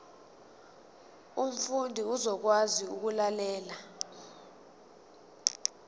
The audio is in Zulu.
umfundi uzokwazi ukulalela